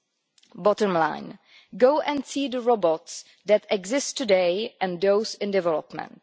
The bottom line go and see the robots that exist today and those in development.